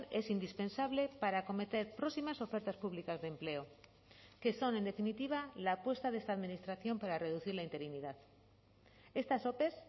es indispensable para acometer próximas ofertas públicas de empleo que son en definitiva la apuesta de esta administración para reducir la interinidad estas ope